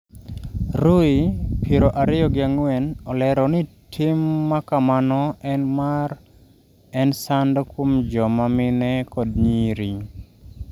Ruhii, piero ariyo gi ang'wen olero ni tim makamano en mar " en sand kuom joma mine kod nyiri.